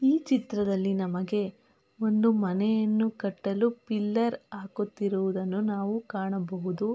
ಈ ಚಿತ್ರದಲ್ಲಿ ನಮಗೆ ಒಂದು ಮನೆಯನ್ನು ಕಟ್ಟಲು ಪಿಲ್ಲರ್ ಹಾಕುತ್ತಿರುವುದನ್ನು ನಾವು ಕಾಣಬಹುದು.